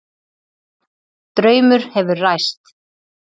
Draumur hefur ræst